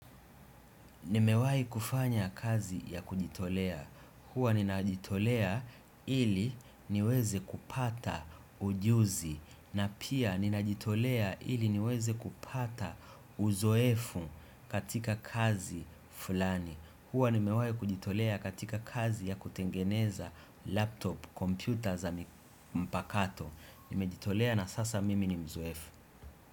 Nimewai kufanya kazi ya kujitolea. Huwa ninajitolea ili niweze kupata ujuzi. Na pia ninajitolea ili niweze kupata uzoefu katika kazi fulani. Huwa nimewai kujitolea katika kazi ya kutengeneza laptop, kompyuta za mpakato. Nimejitolea na sasa mimi ni mzoefu.